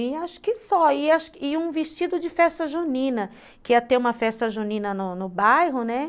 E acho que só, e um e um vestido de festa junina, que ia ter uma festa junina no no bairro, né.